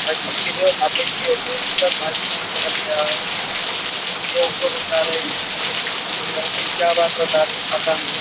मस्जिद के जो होते हैं उनसे बातचीत कर रहा है। ये उनको बता रहे हैं ये। जाने क्या बात बता रहे हैं? पता नहीं।